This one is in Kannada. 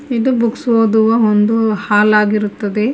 ಇದು ಬುಕ್ಸ್ ಓದುವ ಒಂದು ಹಾಲ್ ಆಗಿರುತ್ತದೆ.